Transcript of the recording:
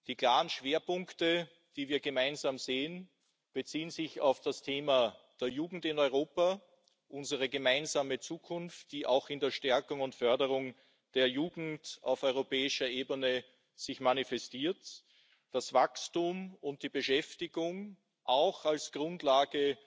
Die klaren Schwerpunkte, die wir gemeinsam sehen, beziehen sich auf das Thema der Jugend in Europa, unsere gemeinsame Zukunft, die sich auch in der Stärkung und Förderung der Jugend auf europäischer Ebene manifestiert, das Wachstum und die Beschäftigung auch als Grundlage